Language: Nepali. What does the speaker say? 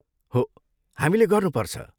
हो, हामीले गर्नुपर्छ।